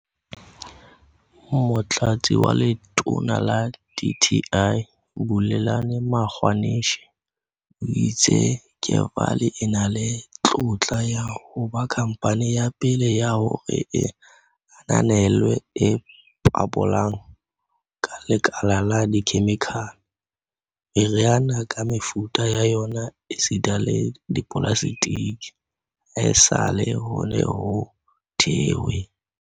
Motlatsi wa Letona la dti, Bulelani Magwanishe, o itse Kevali e na le tlotla ya ho ba khamphane ya pele ya hore e ananelwe e ipabolang ka lekala la dikhemikhale, meriana ka mefuta ya yona esita le dipolaseteke, haesale ho ne ho thehwe